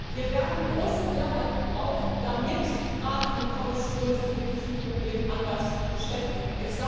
Wir werden große Mehrheiten brauchen, damit Rat und Kommission sich mit diesem Problem anders beschäftigen.